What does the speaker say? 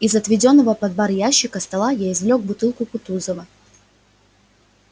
из отведённого под бар ящика стола я извлёк бутылку кутузова